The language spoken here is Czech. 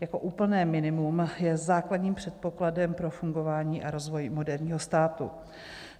jako úplné minimum je základním předpokladem pro fungování a rozvoj moderního státu.